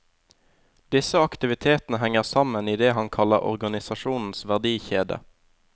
Disse aktivitetene henger sammen i det han kaller organisasjonens verdikjede.